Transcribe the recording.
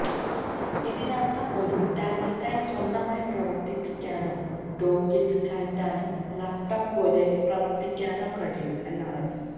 ഇതിനർത്ഥം ഒരു ടാബ്ലറ്റായി സ്വന്തമായി പ്രവർത്തിപ്പിക്കാനോ ഡോക്കിൽ കയറ്റാനോ ലാപ്ടോപ്പ് പോലെ പ്രവർത്തിക്കാനോ കഴിയും എന്നാണ്